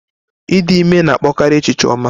Ịdị ime na-akpọkarị echiche ọma.